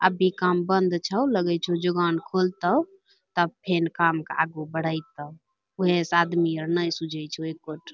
अभी काम बन्द छौ लगै छौ जोगान खोलतौ तब फेन काम क आगू बढ़ैतौ उहै सं आदमी सब नै सुझै छो एको ठो।